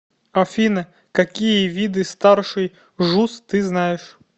афина какие виды старший жуз ты знаешь